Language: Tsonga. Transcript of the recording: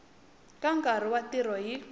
ka nkarhi wa ntirho hi